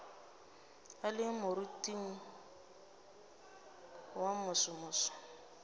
a le moriting wo mosomoso